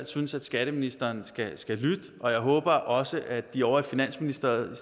synes at skatteministeren skal lytte og jeg håber også at de ovre i finansministeriet